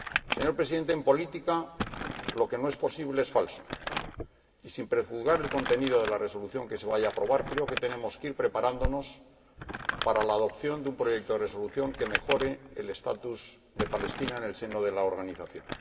Señor Presidente, en política, lo que no es posible es falso y, sin prejuzgar el contenido de la resolución que se vaya a aprobar, creo que tenemos que ir preparándonos para la aprobación de un proyecto de resolución que mejore el estatus de Palestina en el seno de la Organización.